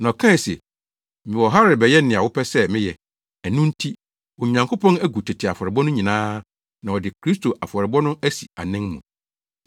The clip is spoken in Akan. Na ɔkae se, “Mewɔ ha rebɛyɛ nea wopɛ sɛ meyɛ.” Ɛno nti, Onyankopɔn agu tete afɔrebɔ no nyinaa na ɔde Kristo afɔrebɔ no asi anan mu.